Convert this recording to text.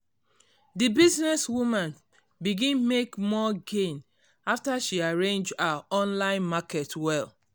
di business woman begin make more gain after she arrange her online market well.